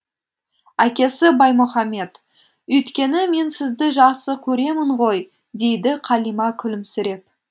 әкесі баймұхамед өйткені мен сізді жақсы көремін ғой дейді қалима күлімсіреп